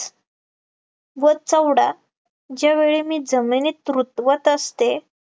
व चवडा ज्या वेळी मी जमिनीत रुतवत असे